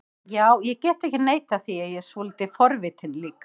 Já, ég get ekki neitað því að ég er svolítið forvitinn líka